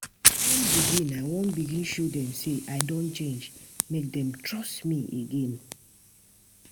I wan begin I wan begin show dem sey I don change, make dem trust me again.